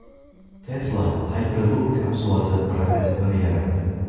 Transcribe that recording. Tesla Hyperloop kapsulasi prototipini yaratdi.